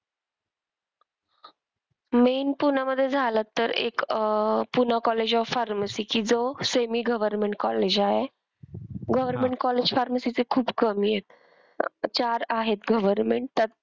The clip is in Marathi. Main पुण्यामध्ये झालं तर एक अह एक पूना कॉलेज ऑफ फार्मसी कि जो semi government college आहे. government college pharmacy चे खूप कमी आहेत. चार आहेत government त्यात,